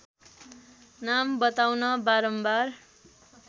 नाम बताउन बारम्बार